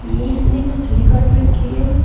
इसने मछली काट रखी है।